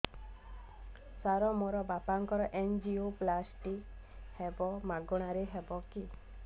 ସାର ମୋର ବାପାଙ୍କର ଏନଜିଓପ୍ଳାସଟି ହେବ ମାଗଣା ରେ ହେବ କି